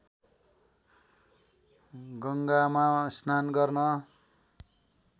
गङ्गामा स्नान गर्न